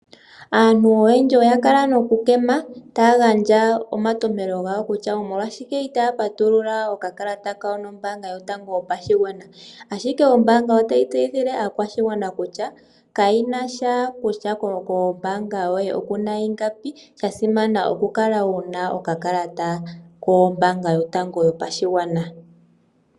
Aantu oyendji oya kala nokukema taya gandja omantopelo gawo kutya omolwashike itaya patulula okakalata kawo nombanga yotango yopashigwana ashike ombaanga otayi tseyithile aakwashigwana kutya kayi na sha kutya kombanga yoye oku na ingapi sha simana okukala wu na okakalata kombanga yotango yopashigwana.